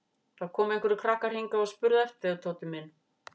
Það komu einhverjir krakkar hingað og spurðu eftir þér Tóti minn